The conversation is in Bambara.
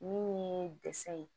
Min ye dɛsɛ ye